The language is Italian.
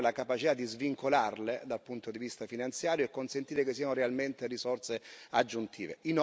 Dobbiamo avere la capacità di svincolarle dal punto di vista finanziario e consentire che siano realmente risorse aggiuntive.